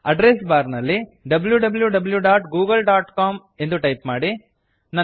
address bar ನಲ್ಲಿ wwwgooglecom W W W dot Google dot com ಎಂದು type ಮಾಡಿ